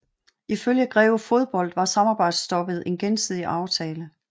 Ifølge Greve Fodbold var samarbejdsstoppet en gensidig aftale